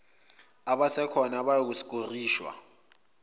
abasekhona bayoku skorishwa